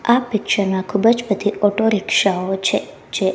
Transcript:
આ પિક્ચર માં ખૂબજ બધી ઓટોરિક્ષાઓ છે જે--